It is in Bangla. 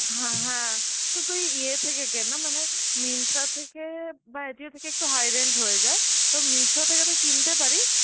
হ্যাঁ হ্যাঁ, তো তুই ইয়ে থেকে কেন না মানে Myntra থেকে বা Ajio থেকে একটু high range হয়ে যায়, তো Meesho থেকে তুই কিনতে পারিস